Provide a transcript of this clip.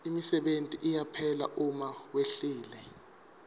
imisebenti iyaphela uma wehlile